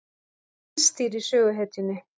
Það tístir í söguhetjunni.